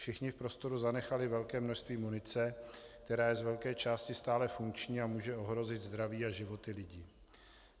Všichni v prostoru zanechali velké množství munice, která je z velké části stále funkční a může ohrozit zdraví a životy lidí.